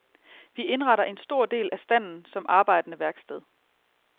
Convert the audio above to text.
Vi indretter en stor del af standen som arbejdende værksted.